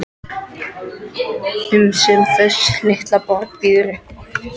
um sem þessi litla borg býður upp á.